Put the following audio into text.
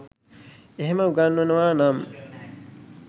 එහේම උගන්වනවා නම්